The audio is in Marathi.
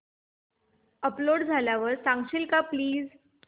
अपलोड झाल्यावर सांगशील का प्लीज